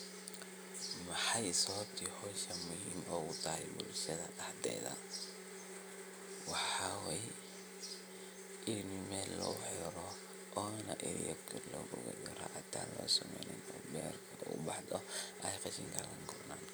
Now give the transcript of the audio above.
Maxay sababti hoshan muhim ogu tahay bulshadha maxa waye ini Mel lagu wadha xiro sifo berta uwadha baxdho